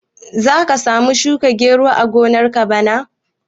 Za ka samu shuka gero a gonar ka bana?